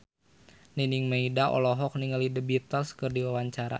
Nining Meida olohok ningali The Beatles keur diwawancara